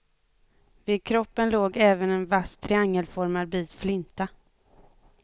Vid kroppen låg även en vass triangelformad bit flinta.